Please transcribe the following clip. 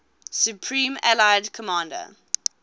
supreme allied commander